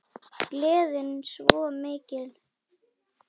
Gleðin svo mikil.